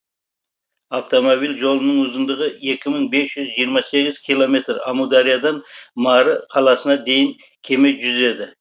автомобиль жолының ұзындығы екі мың бес жүз жиырма сегіз километр амудариядан мары қаласына дейін кеме жүзеді